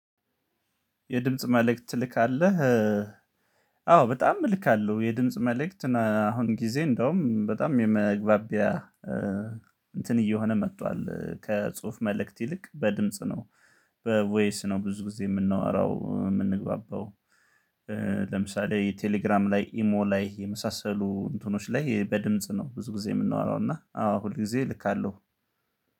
የድምጽ መልእክት ትልካለህ? አዎ በጣም እልካለሁ። የድምጽ መልእክት አሁን ጊዜ እንደውም በጣም የመግባቢያ እንትን እየሆነ መጥቷል። ከጽሁፍ መልእክት ይልቅ በድምጽ ነው። በቮይስ ነው ብዙ ጊዜ የምናወራው የምንግባባው። ለምሳሌ የቴሌግራም ላይ ኢሞ ላይ የመሳሰሉ እንትኖች ላይ በድምጽ ነው ብዙ ጊዜ የምንወራው። እና አዎ ሁል ጊዜ እልካለሁ።